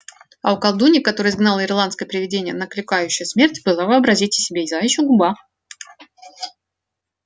а у колдуньи которая изгнала ирландское привидение накликающее смерть была вообразите себе заячья губа